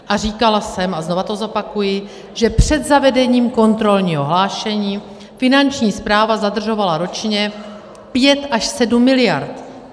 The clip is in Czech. A říkala jsem a znova to zopakuji, že před zavedením kontrolního hlášení Finanční správa zadržovala ročně 5 až 7 mld.